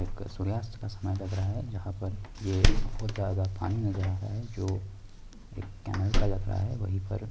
एक सूर्यास्त का समय लग रहा है जहाँ पर ये बहोत ज्यादा पानी नजर आ रहा है जो एक कैनाल का लग रहा है| वहीं पर--